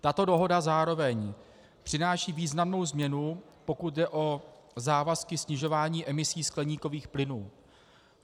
Tato dohoda zároveň přináší významnou změnu, pokud jde o závazky snižování emisí skleníkových plynů.